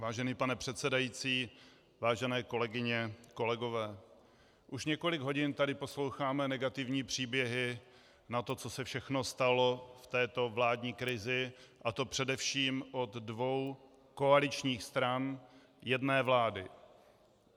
Vážený pane předsedající, vážené kolegyně, kolegové, už několik hodin tady posloucháme negativní příběhy na to, co se všechno stalo v této vládní krizi, a to především od dvou koaličních stran jedné vlády.